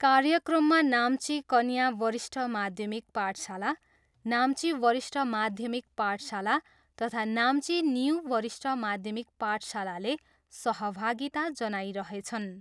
कार्यक्रममा नाम्ची कन्या वरिष्ठ माध्यमिक पाठशाला, नाम्ची वरिष्ठ माध्यमिक पाठशाला तथा नाम्ची न्यु वरिष्ठ माध्यमिक पाठशालाले सहभागिता जनाइरहेछन्।